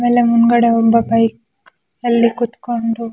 ಆಮೇಲೆ ಮುಂದ್ಗಡೆ ಒಬ್ಬ ಬೈಕ್ ಅಲ್ಲಿಕುಂಥ್ಕೊಂಡು--